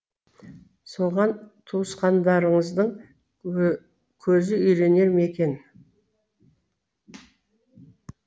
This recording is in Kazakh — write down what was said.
соған туысқандарыңыздың көзі үйренер ме екен